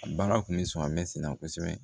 A baara tun bɛ sɔn misa